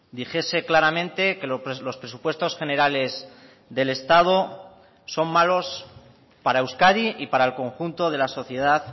dijese claramente que los presupuestos generales del estado son malos para euskadi y para el conjunto de la sociedad